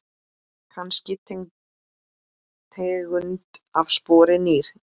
Kannski tegund af spori ný.